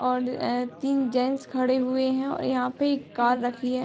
और एं तीन जेन्स खड़े हुए हैं और यहाँ पे एक कार रखी है।